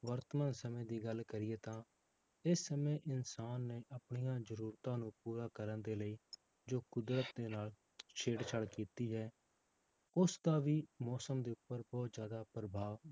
ਵਰਤਮਾਨ ਸਮੇਂ ਦੀ ਗੱਲ ਕਰੀਏ ਤਾਂ ਇਹ ਸਮੇਂ ਇਨਸਾਨ ਨੇ ਆਪਣੇ ਜ਼ਰੂਰਤਾਂ ਨੂੰ ਪੂਰਾ ਕਰਨ ਦੇ ਲਈ ਜੋ ਕੁਦਰਤ ਦੇ ਨਾਲ ਛੇੜ ਛਾੜ ਕੀਤੀ ਹੈ, ਉਸਦਾ ਵੀ ਮੌਸਮ ਦੇ ਉੱਪਰ ਬਹੁਤ ਜ਼ਿਆਦਾ ਪ੍ਰਭਾਵ